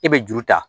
E bɛ juru ta